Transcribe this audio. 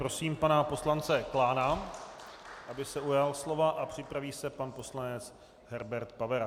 Prosím pana poslance Klána, aby se ujal slova, a připraví se pan poslanec Herbert Pavera.